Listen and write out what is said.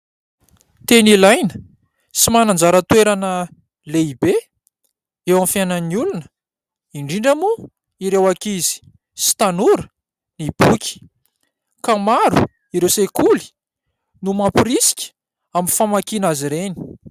Tena ilaina sy manana anjara toerana lehibe eo amin'ny fiainan'ny olona, indrindra moa ireo ankizy sy tanora ny boky. Ka maro ireo sekoly no mamporisika amin'ny famakiana azy ireny.